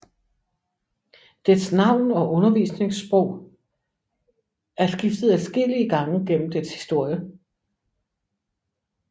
Dets navn og undervisningsprog er skiftet adskillige gange gennem dets historie